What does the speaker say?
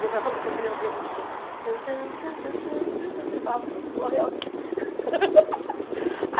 Meu pai falou assim, que ele ouvia a musiquinha... E ele falava, pronto, morreu alguém.